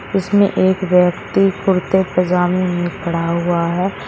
इसमें एक व्यक्ति कुर्ते पजामे में खड़ा हुआ है।